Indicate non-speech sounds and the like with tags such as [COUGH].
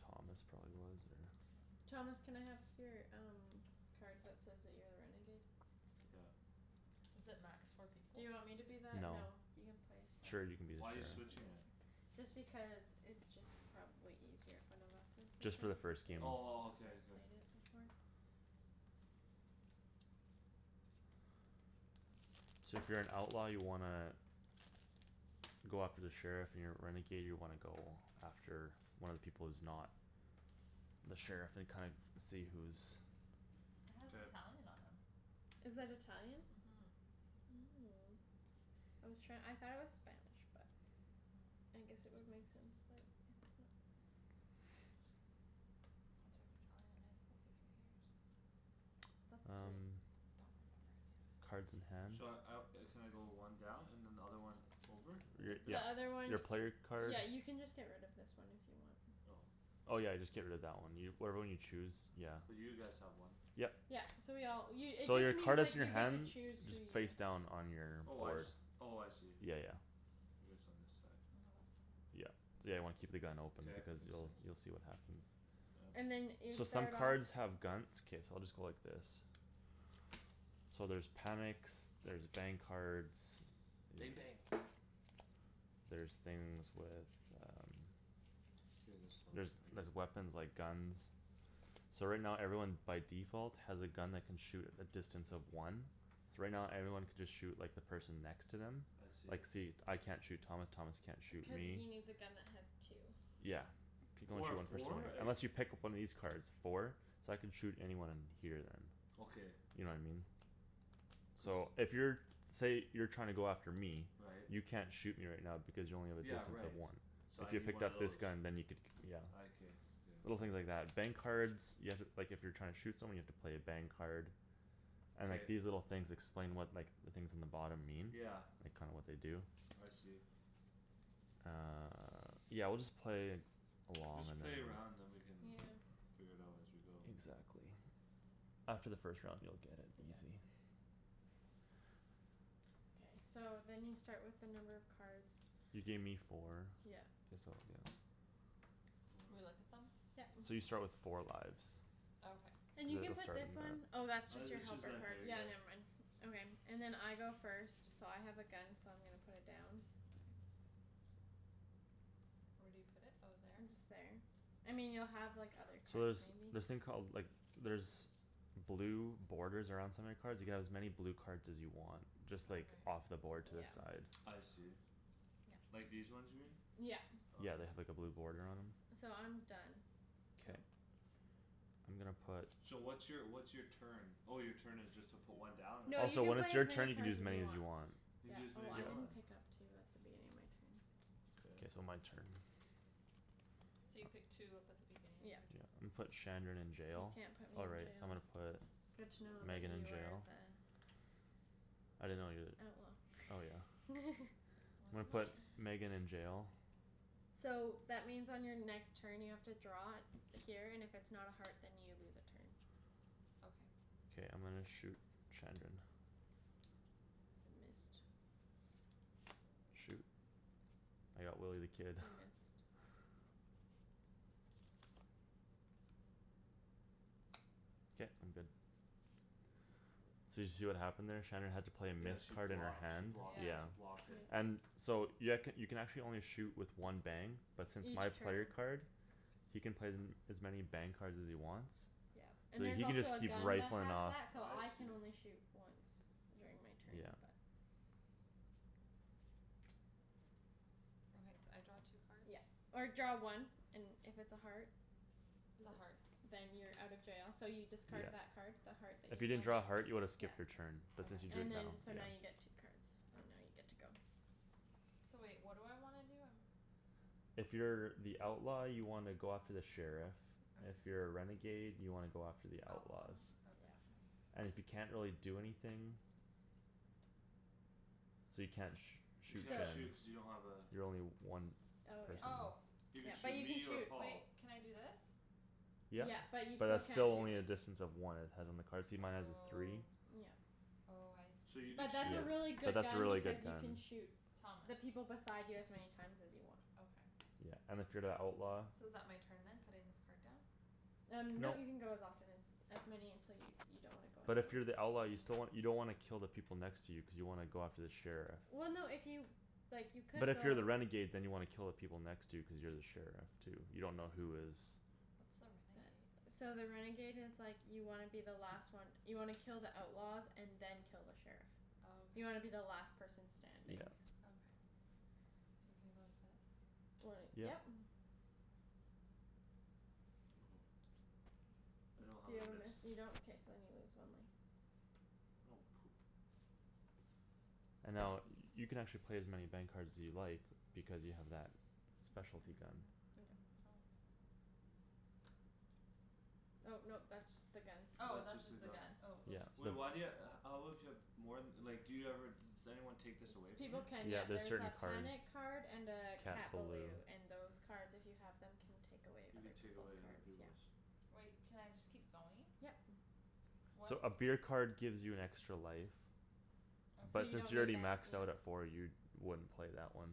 Thomas probably was or Thomas, can I have your um card that says that you're a renegade? Took out. Is it max four people? Do you want me to be that? No. No, you can play Sure, seven. you can be the Why you sheriff. switching it? Just because it's just probably easier. If one of us is the Just for the sheriff versus first game. Oh, well, [INAUDIBLE] okay, okay. played it before. So if you're an outlaw you wanna Go after the sheriff, you're a renegade, you wanna go after one of the people who's not The sheriff and kind- see who's It has K. Italian on 'em. Is that Italian? Mhm. Oh, I was try- I thought it was Spanish, but I guess it would make sense that it's not. I took Italian in high school for three years. That's sweet. Um Don't remember any of it. Cards in hand. Should I out, uh can I go one down and another one over? Your, Th- Like this? the your, other one your player card. Yeah, you can just get rid of this one if you want. Oh. Oh, yeah, just get rid of that one. Whatever one you choose, yeah. Cuz you guys have one. Yep. Yeah, so we all, you it So just your card means, is in like, your you get to hand. choose who Just you face down on your Oh, I board. just, oh, I see. Yeah, yeah. It is on this side. Yeah, yeah, you wanna keep the gun open K, it because makes you'll, sense. you'll see what happens. Yeah. And then you So some start off cards have guns, it's okay, so I'll just go like this. So there's panics, there's bang cards Bang bang. There's things with um K, this helps There's, maybe. there's weapons, like, guns. So right now everyone by default has a gun that can shoot at a distance of one. So right now everyone can just shoot, like, the person next to them. I Like, see. see, I can't shoot Thomas, Thomas can't shoot Cuz me. he needs a gun that has two. Yeah. You can only Or a shoot one person with four? it, Like unless you pick up one of these cards. Four? So I can shoot anyone here then. Okay. You know what I mean? So So if you're, say you're trying to go after me. Right. You can't shoot me right now because you only have a Yeah, distance of right, one. so So I if you need picked one of up this those. gun then you could, yeah. I can, okay. Little things like that. Bang cards You have to, like, if you're trying to shoot someone you have to play a bang card. And, K. like, these little things explain what, like The things in the bottom mean. Yeah. Like, kinda what they do. I see. Uh, yeah, we'll just play along Just and then play a round then we can Yeah. Yeah. figure it out as we go. Exactly. After the first round you'll get it, Yeah. easy. K, so then you start with the number of cards You gave me four. Yeah. This'll do. Do we look [NOISE] at them? Yeah. So you start with four lives. Okay. And you You can guys'll put start this one on that. Oh, that's just Uh your it's just helper right card, there, yeah, yeah. never mind. Okay, and then I go first So I have a gun, so I'm gonna put it down. Where do you put it? Oh, there? And just there. I mean, you'll have, like, other So cards, there's maybe. this thing called, like, there's Blue borders around some of your cards. You can have as many blue cards as you want. Just like Okay. off the board to the Yeah. side. I see. Yeah. Like these ones here? Yeah. Okay. Yeah, they have, like, a blue boarder on 'em. So I'm done, so K. I'm gonna put So what's your, what's your turn? Oh, your turn is just to put one down? Or No, Oh, you so can when it's play as your many turn you can cards use as as you many as want. you want. You can Yeah. do as many Oh, as I you didn't want? Yeah. pick up two at the beginning of my turn. K, so Okay. my turn. So you pick two up at the beginning of your Yep. Yeah. turn? I'mma put Shandryn in You jail. can't put Oh, me in right, so I'm jail. gonna put Good to know that Megan in you are jail. the I didn't know you're Oh, the, oh, yeah. well. [LAUGHS] I'm What gonna am put I? Megan in jail. So that means on your next turn you have to draw Here and if it's not a heart then you lose a turn. Okay. K, I'm gonna shoot Shandryn. You missed. Shoot, I got Willy the Kid. You missed. K, I'm good. So did you see what happened there? Shandryn had to play a Yeah, miss she card in her blocked, she hand, blocked, yeah. she Yeah. blocked it. Yeah. And so you, I could, you can actually only shoot with one bang But since Each my player turn. card He can play them as many bang cards as he wants. Yeah. So And there's he can just also a keep gun that rifling has off. that so I I can see. only shoot once during my turn Yeah. but Okay, so I draw two cards? Yeah, or draw one. And if it's a heart It's a heart. [NOISE] Then you're out of jail, so you discard Yeah. that Card. the heart that If you you didn't just. draw a heart you would've yeah. skipped your turn, but since you Okay. drew it And now, then yeah. so now you get two cards and now you're Okay. good to go. So wait, what do I wanna do? I'm If you're the outlaw you wanna go after the sheriff. If Okay. you're a renegade you wanna go after the The outlaws. outlaws, Oops, yeah. okay. And if you can't really do anything So you can't sh- You shoot can't So Shan. shoot cuz you don't have a You're only one Oh distance. Oh. yeah, You yeah, could but shoot you can me or shoot. Paul. Wait, can I do this? Yep, Yeah, but you but still that's can't still shoot only me. a distance of one. It has on the card. See, mine has a three? Oh. Yeah. Oh, I So see. you But could Yeah, but that's a shoot really good that's a gun really because good you can gun. shoot Thomas. The people beside you as many times as you want. Okay. Yeah, and if you're the outlaw So is that my turn then? Putting this card down? Um nope, you can go as often as As many until you, you don't wanna go But anymore. if you're the outlaw you still wan- you don't wanna kill the people next to you cuz you wanna go after the sheriff. Well, no if you, like, you But could if you're go the renegade then you wanna kill the people next to you cuz you're the sheriff too. You dunno who is What's the That, renegade? so the renegade is like You wanna be the last one. You wanna kill the outlaws and then kill the sheriff. Oh, okay. You wanna be the last person Yeah. standing. Okay. So can I go like this? When it, Yep. yep. [NOISE] I don't have Do you a have a miss. miss? You don't? K, so then you lose one life. Oh, poop. And now, uh, you can actually play as many bang cards as you like Because you have that [INAUDIBLE] Bang, specialty gun. [NOISE] go. Oh no, that's just the gun. Oh, That's that's just the just the gun. gun, oh, Yeah, oops. Wait, no. why do you ha- how would you have More th- like, do you ever just Anyone take this away from you? People can, Yeah, yeah, there's there's certain a cards. panic card and a Cat Cat balou. balou and those cards if you have Them can take away You other can take peoples' away other cards, yeah. peoples'. Wait, can I just keep going? Yep. What's So a beer card gives you an extra life. Okay. So But you since don't you're need already that, maxed yeah. out at four you wouldn't play that one.